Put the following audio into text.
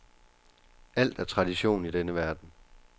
Alt er tradition i denne verden.